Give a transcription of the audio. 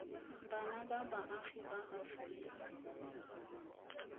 bana ba baagi ba aforika